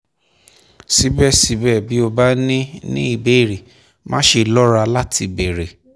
síbẹ̀síbẹ̀ bí o bá ní ní ìbéèrè máṣe lọ́ra láti béèrè